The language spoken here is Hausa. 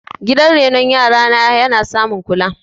gidan renon yara na ya samun kula